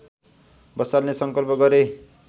बसाल्ने संकल्प गरे